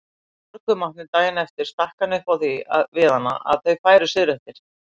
Í morgunmatnum daginn eftir stakk hann upp á því við hana að þau færu suðureftir.